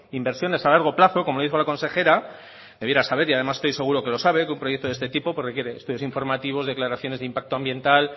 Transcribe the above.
inversiones a largo plazo como lo dijo la consejera debiera saber y además estoy seguro de que lo sabe que un proyecto de este tipo requiere estudios informativos declaraciones de impacto ambiental